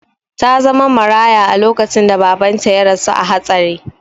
Ta zama maraya lokacin da babanta ya rasu a hatsari.